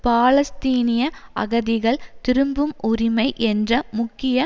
பாலஸ்தீனிய அகதிகள் திரும்பும் உரிமை என்ற முக்கிய